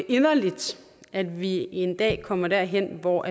inderligt at vi en dag kommer derhen hvor